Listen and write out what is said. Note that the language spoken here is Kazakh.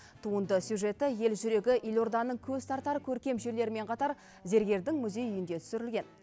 туынды сюжеті ел жүрегі елорданың көз тартар көркем жерлерімен қатар зергердің музей үйінде түсірілген